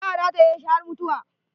Za a rataye shi har mutuwa.